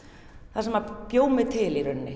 það sem bjó mig til í rauninni